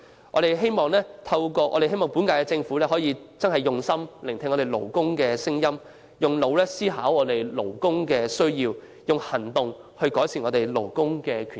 我們希望本屆政府能用心聆聽勞工的聲音，動腦筋思考勞工的需要，以行動改善勞工權益。